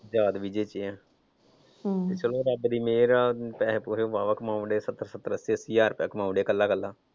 ਤੇ ਦਾਜ ਵੀ ਦਿੱਤੇ ਆ ਚਲੋ ਰੱਬ ਦੀ ਮਿਹਰ ਆ ਪੈਸੇ ਪੂਸੇ ਵਾਹ ਵਾਹ ਕਮਾਉਣ ਡੇ ਸੱਤਰ ਸੱਤਰ ਅੱਸੀ ਅੱਸੀ ਹਜਾਰ ਰੁਪਇਆ ਕਮਾਉਂਦੇ ਕੱਲ੍ਹਾ ਕੱਲ੍ਹਾ।